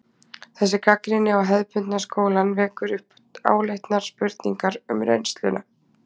Þessi gagnrýni á hefðbundna skólann vekur upp áleitnar spurningar um reynsluna.